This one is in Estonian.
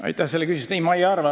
Aitäh selle küsimuse eest!